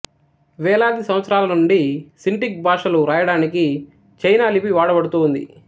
వేలాది సంవత్సరాల నుండి సింటిక్ భాషలు వ్రాయడానికి చైనా లిపి వాడబడుతూ ఉంది